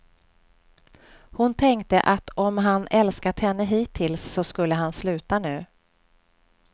Hon tänkte att om han älskat henne hittills, så skulle han sluta nu.